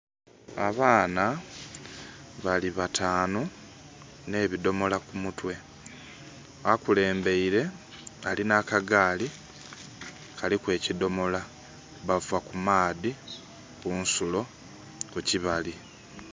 Abaana bali bataanu, n'ebidhomola kumutwe. Akulembeire, alina akagaali, kaliku ekidhomola. Bava ku maadhi kunsulo kukibali.